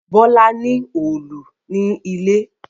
Bola ní Òòlù ní ilé.